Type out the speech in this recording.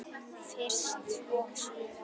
Fyrst og síðast.